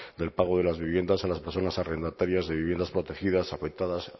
del pago de las viviendas a las personas arrendatarias de viviendas protegidas afectadas